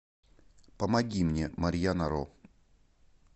помоги мне марьяна ро